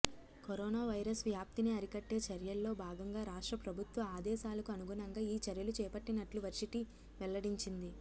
corona virus వ్యాప్తిని అరికట్టే చర్యల్లో భాగంగా రాష్ట్ర ప్రభుత్వ ఆదేశాలకు అనుగుణంగా ఈ చర్యలు చేపట్టినట్లు వర్సిటీ వెల్లడించింది